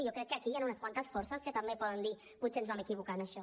i jo crec que aquí hi han unes quantes forces que també poden dir potser ens vam equivocar en això